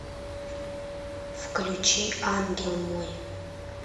включи ангел мой